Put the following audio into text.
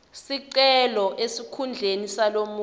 sicelo esikhundleni salomunye